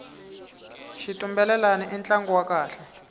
xitumbelelani i ntlangu wa kahle